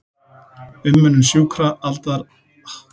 Umönnun sjúkra, aldraðra og barna.